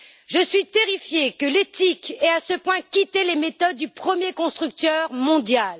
Je suis terrifiée que l'éthique ait à ce point quitté les méthodes du premier constructeur mondial.